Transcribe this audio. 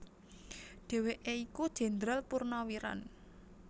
Dhèwèké iku Jendral Purnawiran